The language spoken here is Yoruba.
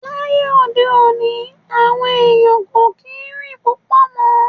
Láyé òde òní, àwọn ẹ̀yàn kò kí ń rìn púpọ̀ mọ́.